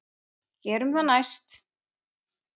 Gerum það næst.